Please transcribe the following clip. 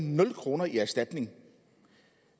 nul kroner i erstatning